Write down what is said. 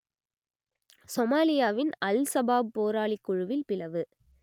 சொமாலியாவின் Al Shabaab போராளிக் குழுவில் பிளவு